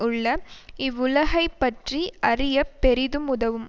உள்ள இவ்வுலகைப் பற்றி அறிய பெரிதும் உதவும்